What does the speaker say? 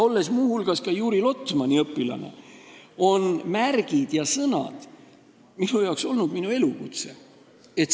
Olles muu hulgas ka Juri Lotmani õpilane, on märgid ja sõnad olnud minu elukutse.